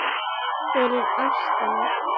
fyrir ástina